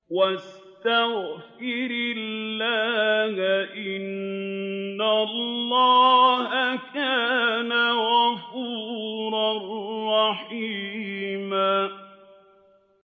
وَاسْتَغْفِرِ اللَّهَ ۖ إِنَّ اللَّهَ كَانَ غَفُورًا رَّحِيمًا